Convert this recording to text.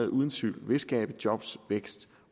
uden tvivl vil skabe job vækst